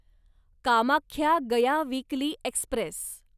Kamakhya Gaya weekly Express